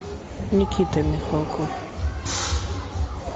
никита михалков